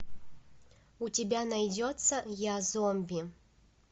у тебя найдется я зомби